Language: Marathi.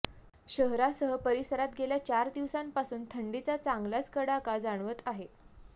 शहरासह परिसरात गेल्या चार दिवसांपासून थंडीचा चांगलाच कडाका जाणवत आहे